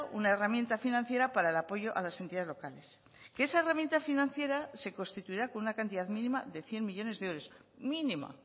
una herramienta financiera para el apoyo a las entidades locales que esa herramienta financiera se constituirá con una cantidad mínima de cien millónes de euros mínima